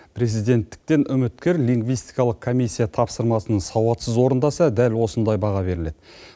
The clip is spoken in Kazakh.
президенттіктен үміткер лингвистикалық комиссия тапсырмасын сауатсыз орындаса дәл осындай баға беріледі